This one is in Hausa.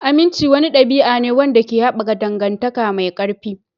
Aminci wani ɗabi'a ne wanda ke haɓaka dangantaka mai ƙarfi.